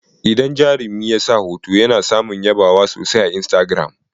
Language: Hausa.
Idan jarumi ya sa hoto, ya na samun yabawa sosai a istagiram.